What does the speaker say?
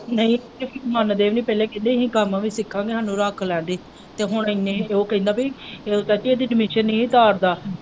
ਨਹੀਂ ਮੰਗਦੇ ਵੀ ਨਹੀਂ ਪਹਿਲੇ ਵੀ ਅਸੀਂ ਕੰਮ ਵੀ ਸਿੱਖਾਂਗੇ ਸਾਨੂੰ ਰੱਖ ਲੈ ਪੀ ਤੇ ਹੁਣ ਉਹ ਕਹਿੰਦਾ ਪੀ ਚਾਚੀ ਇਹਦੀ admission ਨਹੀਂ ਤਾਰਦਾ।